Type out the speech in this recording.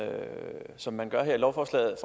som man gør her i lovforslaget